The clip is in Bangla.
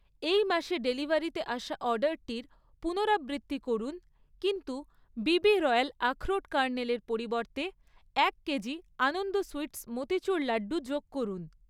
এই মাসে ডেলিভারিতে আসা অর্ডারটির পুনরাবৃত্তি করুন কিন্তু বিবি রয়াল আখরোট কার্নেলের পরিবর্তে এক কেজি আনন্দ সুইটস্ মোতিচুর লাড্ডু যোগ করুন